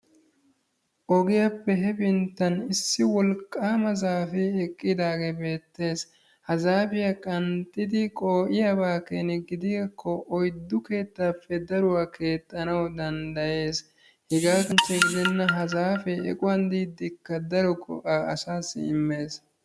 Ogiyaappe hepinttan issi wolqqama zaafe eqqidaagee beettees. Ha zaafiya qanxxidi qoo'iyaakko oyddu keettappe daruwa keexxanawu danddayees. Hegaa kanchche gidenna ha zaafe equwan diidikka daro go''a asassi immees.